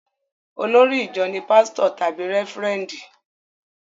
Olórí ìjọ ní pásítọ̀ tàbí rẹ́fúrẹ́ndì